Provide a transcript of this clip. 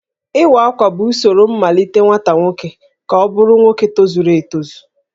Iwa Akwa bụ usoro mmalite nwata nwoke ka ọ bụrụ nwoke tozuru etozu